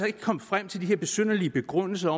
ikke komme frem til de her besynderlige begrundelser